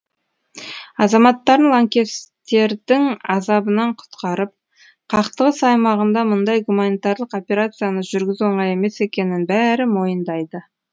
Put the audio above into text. азаматтарын лаңкестердің азабынан құтқарып қақтығыс аймағында мұндай гуманитарлық операцияны жүргізу оңай емес екенін бәрі мойындайды